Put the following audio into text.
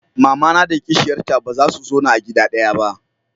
mamana da kishiyar ta baza su zauna a gida ɗaya ba